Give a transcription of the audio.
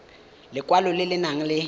lekwalo le le nang le